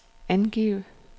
angiv